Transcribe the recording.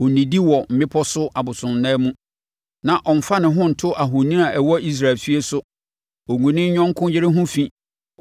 “Ɔnnidi wɔ mmepɔ so abosonnan mu na ɔmfa ne ho nto ahoni a ɛwɔ Israel efie so. Ɔngu ne yɔnko yere ho fi.